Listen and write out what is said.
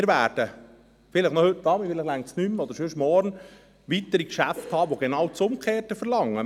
Wir werden vielleicht noch heute Abend, vielleicht erst morgen weitere Geschäfte behandeln, die genau das Gegenteil verlangen.